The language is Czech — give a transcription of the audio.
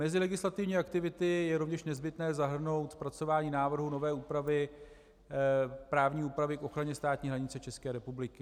Mezi legislativní aktivity je rovněž nezbytné zahrnout zpracování návrhu nové právní úpravy k ochraně státní hranice České republiky.